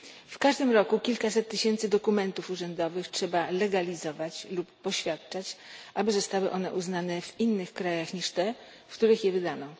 W każdym roku kilkaset tysięcy dokumentów urzędowych trzeba legalizować lub poświadczać, aby zostały one uznane w innych krajach niż te, w których je wydano.